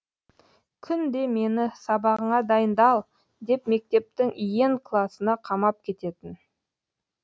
күнде мені сабағыңа дайындал деп мектептің иен класына қамап кететін